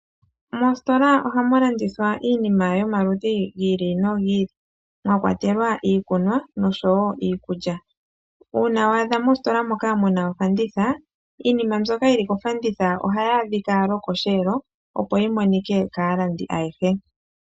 Moositola ohamu landithwa iinima yomaludhi gi ili nogi ili mwa kwatelwa iikunwa nosho wo iikulya. Uuna wa adha mositola moka mu na ofanditha iinima mbyoka yili kofanditha ohayi adhika lwokosheelo, opo yi monike kaalandi ayehe.